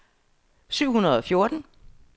syv hundrede og fjorten